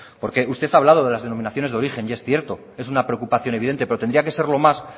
porque usted ha hablado de las denominaciones de origen y es cierto es una preocupación evidente pero tendría que serlo más